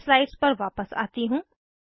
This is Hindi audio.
मैं स्लाइड्स पर वापस आती हूँ